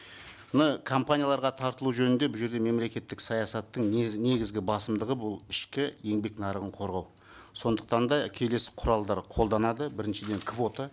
мына компанияларға тартылу жөнінде бұл жерде мемлекеттік саясаттың негізгі басымдығы бұл ішкі еңбек нарығын қорғау сондықтан да келесі құралдар қолданады біріншіден квота